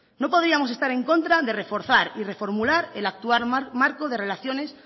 no podíamos estar en contra de reforzar y reformular el actual marco de relaciones